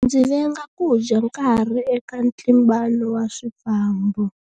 Ndzi venga ku dya nkarhi eka ntlimbano wa swifambo.